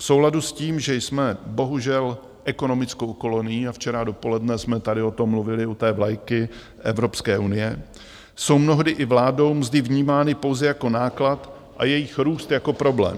V souladu s tím, že jsme bohužel ekonomickou kolonií, a včera dopoledne jsme tady o tom mluvili u té vlajky Evropské unie, jsou mnohdy i vládou mzdy vnímány pouze jako náklad a jejich růst jako problém.